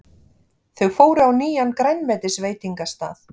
Þau fóru á nýjan grænmetisveitingastað.